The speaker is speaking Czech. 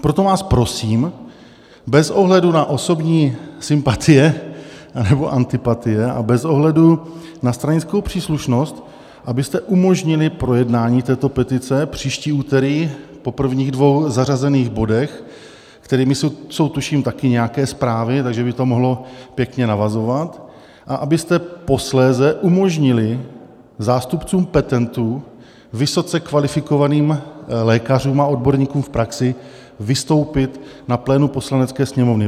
Proto vás prosím bez ohledu na osobní sympatie anebo antipatie a bez ohledu na stranickou příslušnost, abyste umožnili projednání této petice příští úterý po prvních dvou zařazených bodech, kterými jsou, tuším, taky nějaké zprávy, takže by to mohlo pěkně navazovat, a abyste posléze umožnili zástupcům petentů, vysoce kvalifikovaným lékařům a odborníkům v praxi vystoupit na plénu Poslanecké sněmovny.